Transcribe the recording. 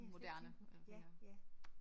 Det havde jeg slet ikke tænkt på ja ja